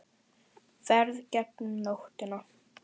Ferð gegnum nóttina